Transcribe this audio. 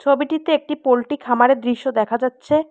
ছবিটিতে একটি পোল্ট্রি খামারের দৃশ্য দেখা যাচ্ছে।